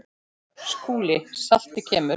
SKÚLI: Saltið kemur.